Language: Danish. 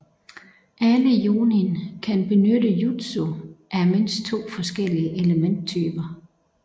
Alle Jonin kan benytte jutsu af mindst to forskellige elementtyper